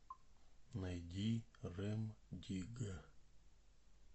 найди рем дигга